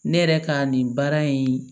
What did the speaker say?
Ne yɛrɛ ka nin baara in